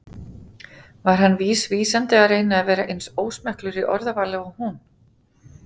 var hann vísvitandi að reyna að vera eins ósmekklegur í orðavali og hún?